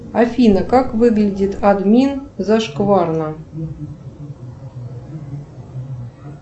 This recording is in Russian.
афина как выглядит админ зашкварно